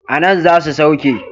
A nan za su sauke.